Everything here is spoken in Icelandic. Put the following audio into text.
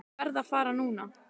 Ég verð að fara núna!